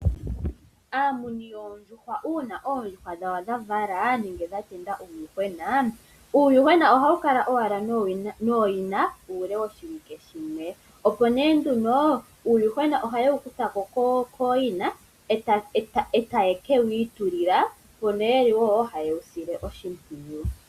Aamuni yoondjuhwa uuna oondjuhwa dhawo dha vala nenge dha tendula uuyuhwena, uuyuhwena ohawu kala owala nooyina uule woshiwike shimwe opo nee nduno uuyuhwena ohaye wu kutha ko kooyina e taye wi ikalekele, opo nee haye wu sile oshimpwiyu.